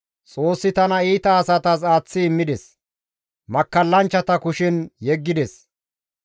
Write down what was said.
Xoossi tana iita asatas aaththi immides; makkallanchchata kushen yeggides.